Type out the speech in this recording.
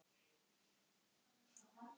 Hafi jafnvel æpt á þá.